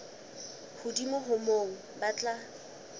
hodimo ho moo ba tla